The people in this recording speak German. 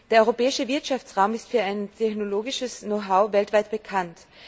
Der europäische Wirtschaftsraum ist für sein technologisches Know how weltweit bekannt.